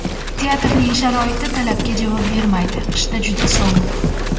Teatrning sharoiti talabga javob bermaydi, qishda juda sovuq.